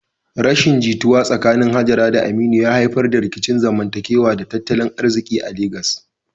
Rashin jituwa tsakanin Hajara da Aminu ya haifar da rikicin zamantakewa da tattalin arziki a Legas.